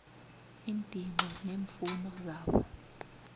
iindingo neemfuno zabo